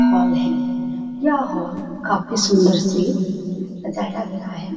Hall है। यह hall काफी सुंदर से सजाया गया है।